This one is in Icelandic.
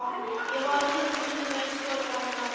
Ég var á nippinu með að skjóta hana líka.